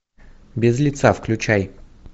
без лица включай